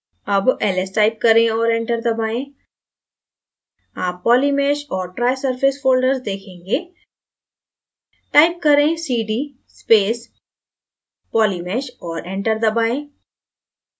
अब ls type करें और enter दबाएँ आप polymesh और trisurface folders देखेंगे type करें cd space polymesh और enter दबाएँ